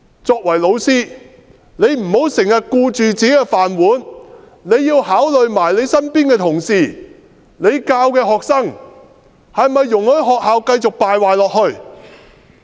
作為老師，不要經常只顧自己的"飯碗"，也要考慮身邊的同事和教授的學生，是否容許學校繼續敗壞下去？